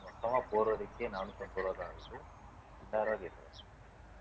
மொத்தமா போறதுக்கே நானூத்தி ஐம்பது ரூபாய்தான் ஆகுது இரண்டாயிரம் ரூபாய் கேட்கறாங்க